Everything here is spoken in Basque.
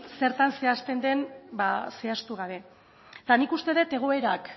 zertan zehazten den ba zehaztu gabe eta nik uste dut egoerak